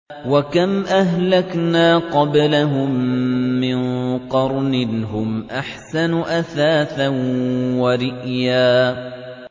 وَكَمْ أَهْلَكْنَا قَبْلَهُم مِّن قَرْنٍ هُمْ أَحْسَنُ أَثَاثًا وَرِئْيًا